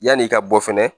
Yan'i ka bɔ fɛnɛ